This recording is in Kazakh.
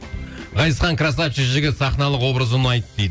ғазизхан красавчик жігіт сахналық образы ұнайды дейді